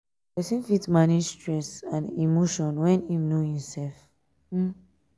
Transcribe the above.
person fit manage stress um and emotion when im know im self um um